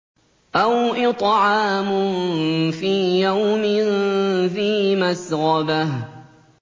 أَوْ إِطْعَامٌ فِي يَوْمٍ ذِي مَسْغَبَةٍ